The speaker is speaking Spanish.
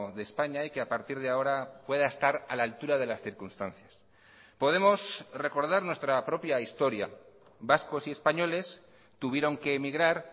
de españa y que a partir de ahora pueda estar a la altura de las circunstancias podemos recordar nuestra propia historia vascos y españoles tuvieron que emigrar